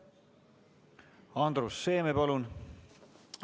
Andrus Seeme, palun!